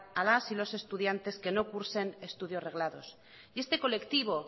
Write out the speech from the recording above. a las y los estudiantes que no cursen estudios reglados y este colectivo